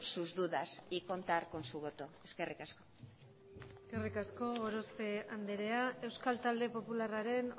sus dudas y contar con su voto eskerrik asko eskerrik asko gorospe andrea euskal talde popularraren